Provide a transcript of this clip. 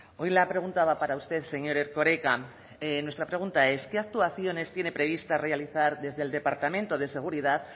hoy la pregunta va para usted señor erkoreka nuestra pregunta es qué actuaciones tiene previstas realizar desde el departamento de seguridad